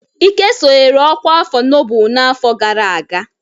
Ike sonyere ọkwá afọ nnobụ n'afọ gara aga.